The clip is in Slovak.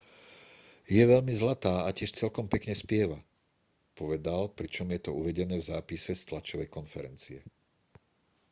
je veľmi zlatá a tiež celkom pekne spieva povedal pričom je to uvedené v zápise z tlačovej konferencie